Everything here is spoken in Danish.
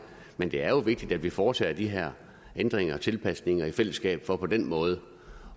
men det er vigtigt at vi foretager de her ændringer og tilpasninger i fællesskab for på den måde